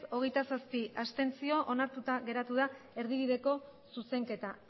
hogeita zazpi abstentzio onartuta geratu da erdibideko zuzenketa